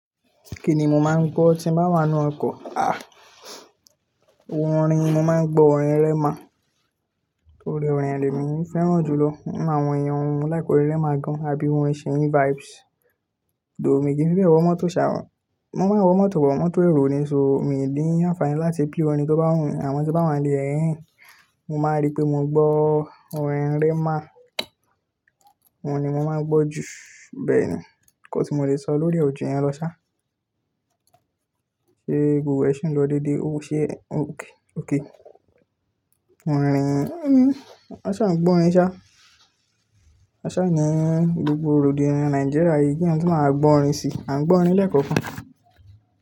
Kí ni mo máa ń gbọ́ tí bá wà nínú ọkọ̀? Ah, orin, mo máa ń gbọ́ orin Rema. Torí orin rẹ̀ le mí fẹ́ràn jù lọ. Orin àwọn ẹeyan wọ mo like orin Rema gan, àbí orin Seyi vibes. Dò mí kì í fi bẹ́ẹ̀ wọ mọ́tò sá. Mo máa ń wọ mọ́tò but, mọ́tò èrò ni, só míì ni ànfààní láti play orin tó bá wù mí, àmọ́ tí n bá wà n lẹ̀, mo máa rí pé mo gbọ́ orin Rema. Òun ni mo máa ń gbọ́ jù. Bẹ́ẹ̀ ni. Nǹkan tí mo lè sọ lórí e ò ju yẹn lọ sá. Ṣé gbogbo ẹ ṣì ń lọ déédéé? Ó ṣe é, ók, ók. Orin, a ṣá ń gbọ́ orin ṣá. A ṣá ni gbogbo rògbodiyan Nàìjíríà yìí kí ẹeyan tun ma màá gbọ́ orin sí, à ń gbọ́ orin lẹ́ẹ̀kookan.